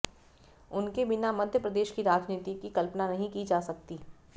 उनके बिना मध्यप्रदेश की राजनीति की कल्पना नहीं की जा सकती